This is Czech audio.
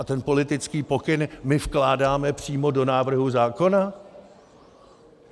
A ten politický pokyn my vkládáme přímo do návrhu zákona?